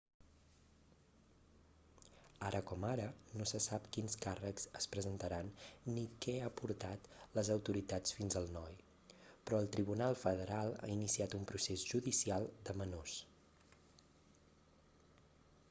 ara com ara no se sap quins càrrecs es presentaran ni què ha portat les autoritats fins al noi però el tribunal federal ha iniciat un procés judicial de menors